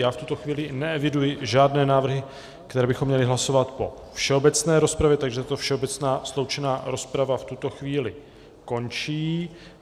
Já v tuto chvíli neeviduji žádné návrhy, které bychom měli hlasovat po všeobecné rozpravě, takže tato všeobecná sloučená rozprava v tuto chvíli končí.